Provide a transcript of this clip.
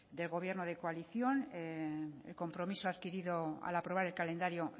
de gobierno de coalición el compromiso adquirido al aprobar el calendario